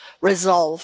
resolve